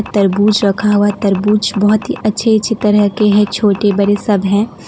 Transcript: तरबूज रखा हुआ है तरबूज बहुत ही अच्छे अच्छे तरह के हैं छोटे बड़े सब हैं।